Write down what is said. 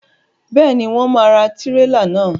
Béèni, wọn ò ra tirela náà